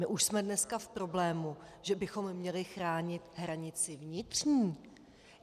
My už jsme dneska v problému, že bychom měli chránit hranici vnitřní.